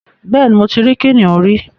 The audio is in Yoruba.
Bẹ́ẹ̀ ni, mo ti rí kìnnìún rí